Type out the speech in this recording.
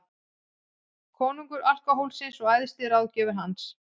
Konungur alkóhólsins og æðsti ráðgjafi hans.